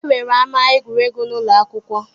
E nwere ama egwuregwu n'ụlọ akwụkwọ